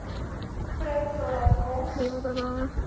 prut totdat kos